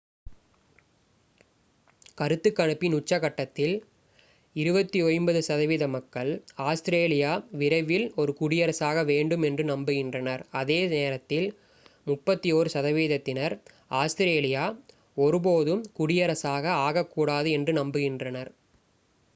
கருத்துக் கணிப்பின் உச்சக்கட்டத்தில் 29 சதவீத மக்கள் ஆஸ்திரேலியா விரைவில் ஒரு குடியரசாக வேண்டும் என்று நம்புகின்றனர் அதே நேரத்தில் 31 சதவிகிதத்தினர் ஆஸ்திரேலியா ஒருபோதும் குடியரசாக ஆகக்கூடாது என்று நம்புகின்றனர்